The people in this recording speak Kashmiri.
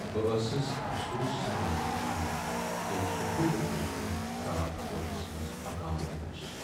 بہ ٲسٕس افسوس سان وُچھان ییٚلہ سُہ بُڈٕ بیچھِ وُن راتھ کوچس منز پکان اوس۔